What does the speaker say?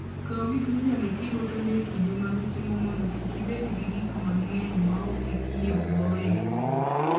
Kaw gik minyalo tigo kendo e kinde mag chiemo mondo kik ibed gi gik mang'eny ma ok itiyogo e wuoth.